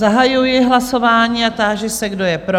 Zahajuji hlasování a táži se, kdo je pro?